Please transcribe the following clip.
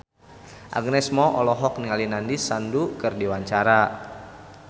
Agnes Mo olohok ningali Nandish Sandhu keur diwawancara